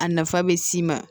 A nafa bɛ s'i ma